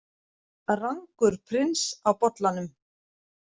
Rangur prins á bollanum